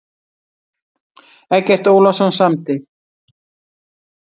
Eggert Ólafsson samdi.